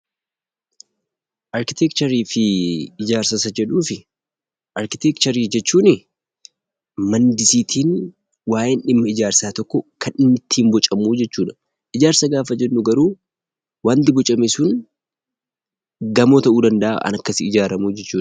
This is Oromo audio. Arkiteekcharii jechuun maandisiitiin waayeen dhimma ijaarsa tokkoo kan inni ittiin bocamu jechuudha. Ijaarsa gaafa jennu garuu wanti bocame sun gamoo ta'uu danda'a kan akkasiin ijaaramu sun.